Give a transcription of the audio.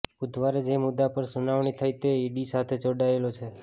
બુધવારે જે મુદ્દા પર સુનાવણી થઇ તે ઇડી સાથે જોડાયેલો છે